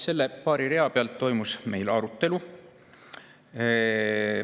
Nende paari rea üle toimus meil siis arutelu.